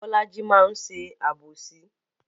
Bolaji máa ń ṣe àbòsí